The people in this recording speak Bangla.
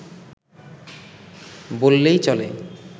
বললেই চলে